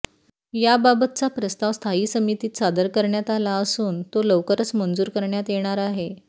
याबाबतचा प्रस्ताव स्थायी समितीत सादर करण्यात आला असून तो लवकरच मंजूर करण्यात येणार आहे